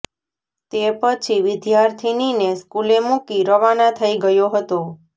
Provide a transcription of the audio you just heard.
તે પછી વિર્દ્યાથિનીને સ્કુલે મુકી રવાના થઈ ગયો હતો